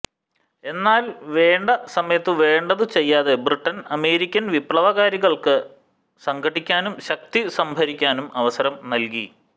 എന്നാൽ വേണ്ട സമയത്തു വേണ്ടതു ചെയ്യാതെ ബ്രിട്ടൻ അമേരിക്കൻ വിപ്ലവകാരികൾക്കു സംഘടിക്കാനും ശക്തി സംഭരിക്കാനും അവസരം നല്കി